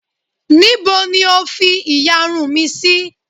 Níbo ni O fi ìyarun mi sí?